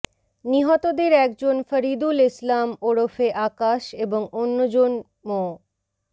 নিহতদের একজন ফরিদুল ইসলাম ওরফে আকাশ এবং অন্যজন মো